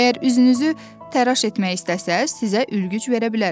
Əgər üzünüzü təraş etmək istəsəz, sizə ülgüc verə bilərəm.